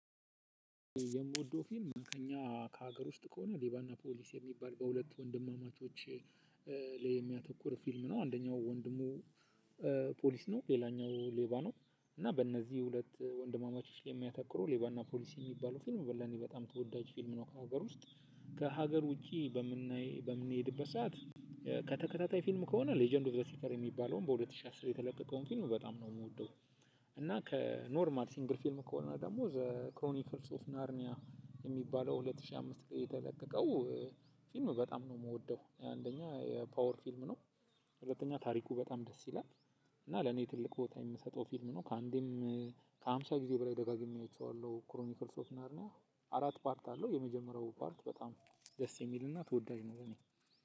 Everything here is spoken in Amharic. የምወደው ፊልም ከእኛ ከሀገር ውስጥ ከሆነ ሌባና ፖሊስ የሚባል በሁለት ወንድማማቾች ላይ የሚያተኩር ፊልም ነው አንደኛው ወንድሙ ፖሊስ ነው ሌላኛው ሌባ ነው። እና በእነዚህ ሁለት ወንድማማቾች ላይ የሚያተኩሩ ሌባና ፖሊሲ የሚባሉ ፊልም በጣም ተወዳጅ ፊልም ነው። ከሀገር ውስጥ ከሀገር ውጪ በምናይ በምንሄድበት ሰዓት። ከተከታታይ ፊልም ከሆነ ሌጀንድ ኦፍ ዘ ሲተር የሚባለውን በሁለት ሺህ አስር የተለቀቀውን ፊልም በጣም ነው የምወደው። እና ከኖርማል ሲንግል ፊልም ከሆነ ደግሞ ዘ ክሮኒክስ ኦፍ ናርኒያ የሚባለው ሁለት ሺህ አምስት ላይ የተለቀቀው ፊልም በጣም ነው የምወደው። አንደኛ የፓወር ፊልም ነው። ሁለተኛ ታሪኩ በጣም ደስ ይላል። እና ለኔ ትልቅ ቦታ የምሰጠው ፊልም ነው። ከአንዴም ከሃምሳ ጊዜ በላይ ደጋግሜ አይቸዋለሁ ክሮሚኒክል ሶፍትራንድ ነው። አራት ፓርት አለው። የመጀመሪያው ፓርት በጣም ደስ የሚልና ተወዳጅ ነው በኔ